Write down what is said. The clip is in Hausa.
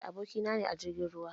Da aboki na ne na jirgin ruwa.